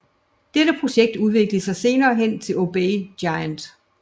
Dette projekt udviklede sig senere hen til OBEY Giant